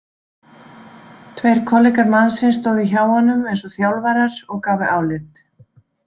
Tveir kollegar mannsins stóðu hjá honum eins og þjálfarar og gáfu álit.